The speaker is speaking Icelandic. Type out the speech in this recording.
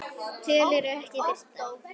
Tölur ekki birtar